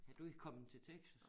Er du i kommet til Texas